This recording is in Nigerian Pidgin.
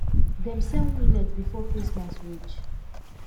dem sell millet before christmas reach